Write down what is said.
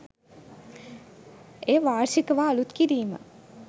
එය වාර්ෂිකව අලුත් කිරීම